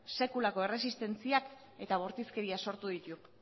sekulako erresistentzia eta bortizkeria sortu ditu